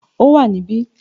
It is here